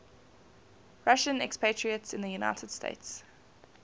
russian expatriates in the united states